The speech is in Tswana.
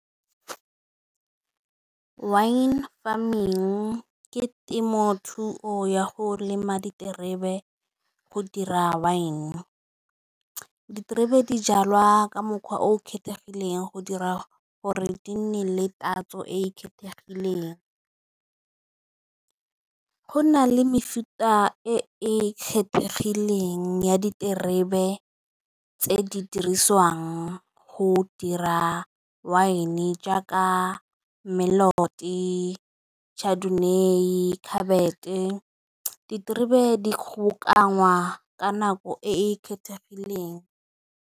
Wine farming ke temothuo ya go lema diterebe go dira wine. Diterebe dijalwa ka mokgwa o kgethegileng go dira gore di nne le tatso e e kgethegileng, go na le mefuta e e kgethegileng ya diterebe tse di dirisiwang go dira wine jaaka melody, Chardonnay, diterebe di kgobokanya ka nako e e kgethegileng.